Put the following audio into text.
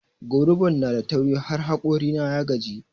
Goruban nada tauri har hokori na ya gaji.